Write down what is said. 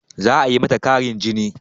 Za a yi mata ƙarin jini